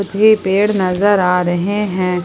ये पेड़ नजर आ रहे हैं।